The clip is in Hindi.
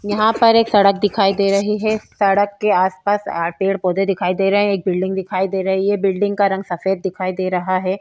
यहाँ पर एक सड़क दिखाई दे रही है सड़क के आसपास पेड़-पौधे दिखाई दे रहे हैं एक बिल्डिंग दिखाई दे रही है बिल्डिंग का रंग सफेद दिखाई दे रहा है।